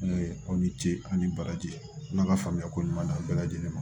N'o ye aw ni ce aw ni baraji n'a ka faamuya ko ɲuman d'a bɛɛ lajɛlen ma